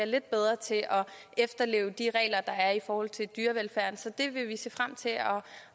lidt bedre til at efterleve de regler der er i forhold til dyrevelfærd så det vil vi se frem til at